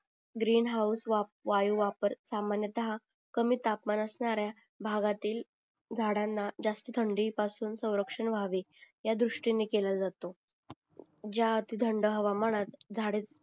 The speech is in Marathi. ग्रीन हाऊस वाप वायू वाप सामन्यतः कमी तापमान असणाऱ्या भागातील झाडांना जास्ती थंडी पासून संरक्षण व्हावे ह्या दृष्टीने केला जातो ज्या अर्थी थंड हवामानत झाडे